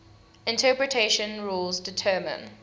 interpretation rules determine